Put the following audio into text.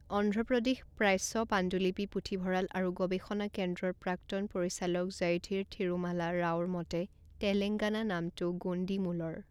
অন্ধ্ৰ প্ৰদেশ প্ৰাচ্য পাণ্ডুলিপি পুথিভঁৰাল আৰু গৱেষণা কেন্দ্ৰৰ প্ৰাক্তন পৰিচালক জয়ধীৰ থিৰুমালা ৰাওৰ মতে, তেলঙ্গাগানা নামটো গোণ্ডী মূলৰ।